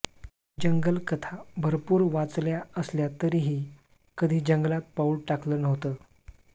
जंगलकथा भरपूर वाचल्या असल्या तरीही कधी जंगलात पाऊल टाकलं नव्हतं